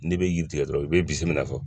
N'i bɛ yiri tigɛ dɔrɔn i bɛ bisimila